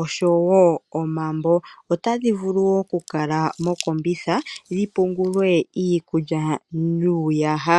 osho wo omambo. Otadhi vulu wo okukalamokombitha dhi pungulwe iikulya nuuyaha.